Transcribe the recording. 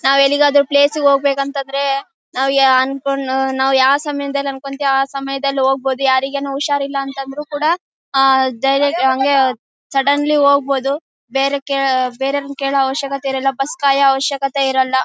ನಾವ್ ಎಲ್ಲಿ ಗಾದ್ರು ಪ್ಲೇಸ್ ಗೆ ಹೋಗ್ಬೇಕು ಅಂತ ಅಂದ್ರೆ ನಾವ್ ಅನ್ಕೊಂ ಯಾವ ಸಮಯದಲ್ಲಿ ಅನ್ಕೊಂತಿವ್ ಆ ಸಮಯದಲ್ಲಿ ಹೋಗಬೋದು ಯಾರಿಗೇನು ಹುಷಾರಿಲ್ಲಾ ಅಂತ ಅಂದ್ರು ಕೂಡ ಆ ಧೈರ್ಯಕ್ಕೆ ಹಂಗೆ ಸಡನ್ಲಿ ಹೋಗಬೋದು ಬೇರೆಕ್ಕೆ ಬೇರೆಯವರನ್ನ ಕೇಳೋ ಅವಶ್ಯಕತೆ ಇರಲ್ಲಾ ಬಸ್ ಗೆ ಕಾಯೋ ಅವಶ್ಯಕತೆ ಇರಲ್ಲಾ